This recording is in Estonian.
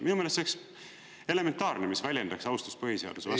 Minu meelest see oleks elementaarne, mis väljendaks austust põhiseaduse vastu.